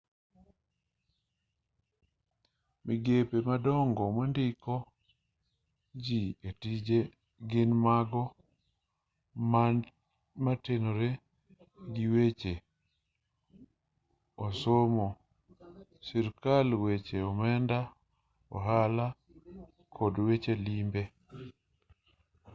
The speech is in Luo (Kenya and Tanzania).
migepe madongo mandiko ji e tije gin mago motenore giweche osomo sirkal weche omenda ohala to kod weche limbe